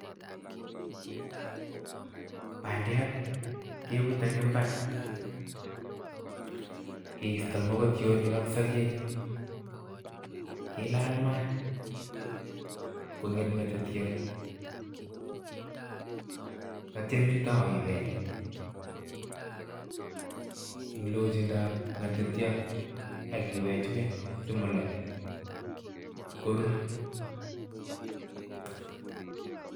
Bandiat kebute eng imbar keisto mokotionik ak sogek, kilal maat, konget ngetetiot, atya itou any ibel, eng lojindab ngetetiot, ak iwejwej simoloch, korur.